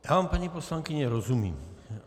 Já vám, paní poslankyně, rozumím.